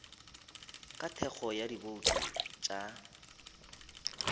ka thekgo ya dibouto tša